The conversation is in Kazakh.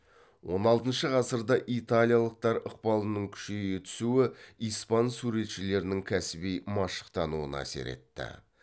он алтыншы ғасырда италиялықтар ықпалының күшейе түсуі испан суретшілерінің кәсіби машықтануына әсер етті